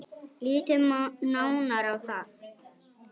Lítum nánar á það.